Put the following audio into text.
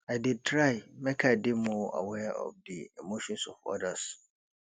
i dey try make i dey more aware of di emotions of odas